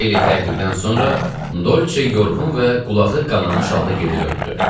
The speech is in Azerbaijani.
Xeyli təqibdən sonra Dolçe yorğun və qulağı qanammış halda geri döndü.